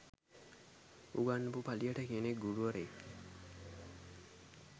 උගන්නපු පලියට කෙනෙක් ගුරුවරයෙක්